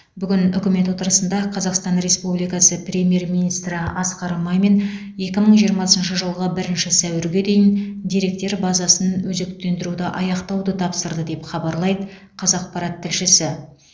бүгін үкімет отырысында қазақстан республикасы премьер министрі асқар мамин екі мың жиырмасынщы жылғы бірінші сәуірге дейін деректер базасын өзектендіруді аяқтауды тапсырды деп хабарлайды қазақпарат тілшісі